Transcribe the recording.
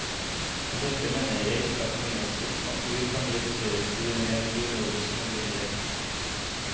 Med dette mener jeg ikke at menneskets natur kan reduseres til en ren biologisk nødvendighet.